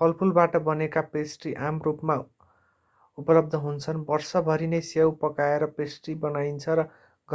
फलफूलबाट बनेका पेस्ट्री आम रूपमा उपलब्ध हुन्छन् वर्षभर नै स्याउ पकाएर पेस्ट्री बनाइन्छ र